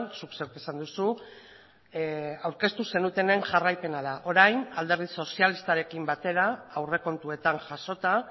zuk zeuk esan duzu aurkeztu zenutenaren jarraipena da orain alderdi sozialistarekin batera aurrekontuetan jasota